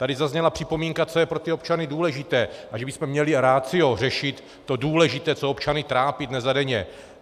Tady zazněla připomínka, co je pro ty občany důležité a že bychom měli ratio řešit to důležité, co občany trápí dnes a denně.